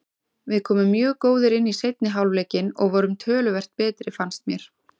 Við komum mjög góðir inn í seinni hálfleikinn og vorum töluvert betri fannst mér.